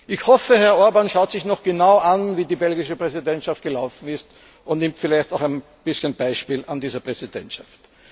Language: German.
Ich hoffe, Herr Orbán schaut sich noch genau an, wie die belgische Präsidentschaft gelaufen ist, und nimmt sich vielleicht ein bisschen ein Beispiel an dieser Präsidentschaft.